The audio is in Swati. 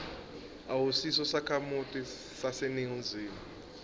awusiso sakhamuti saseningizimu